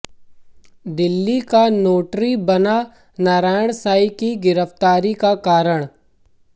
दिल्ली का नोटरी बना नारायण साईं की गिरफ्तारी का कारण